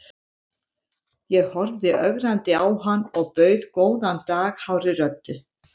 Ég horfði ögrandi á hann og bauð góðan dag hárri röddu.